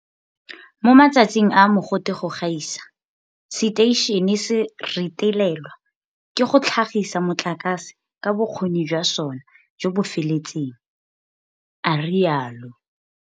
Mo matsatsing a a mogote go gaisa, seteišene se retelelwa ke go tlhagisa motlakase ka bokgoni jwa sona jo bo feletseng, a rialo.